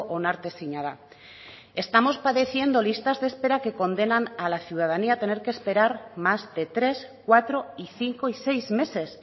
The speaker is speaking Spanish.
onartezina da estamos padeciendo listas de espera que condenan a la ciudadanía a tener que esperar más de tres cuatro y cinco y seis meses